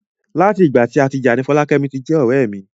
Lati ìgbà tí a ti já ni Folakemi ti jẹ ọrẹ mi.